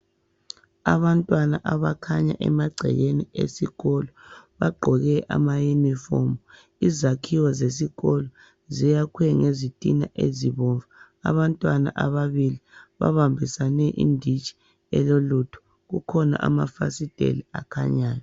Abantwana abakhanya emagcekeni esikolo. Bagqoke amauniform. Izakhiwo zesikolo, zayakhwe ngezitina ezibomvu. Abantwana ababili babambisane inditshi elolutho. Kukhona amafasiteli akhanyayo,